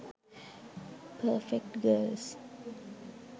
perfect girls